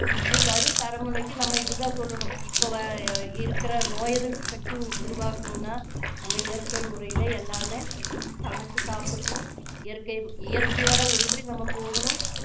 இனி வரும் தலைமுறைக்கு நம்ம இது தான் சொல்லணும் இப்போ இருக்குற நோய் எதிர்ப்பு சக்தி உருவாக்கணும்னா நாம இயற்கை முறையில எல்லாமே சமைச்சு சாப்பிடணும் இயற்கை~ இயற்கையோட ஒன்றி நம்ம போகணும்